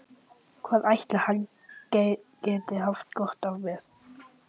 Hvað ætli hann geti haft gott af mér?